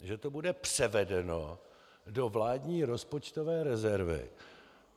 Že to bude převedeno do vládní rozpočtové rezervy.